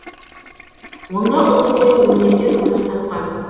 онда ұлттық ою өрнектер көрініс тапқан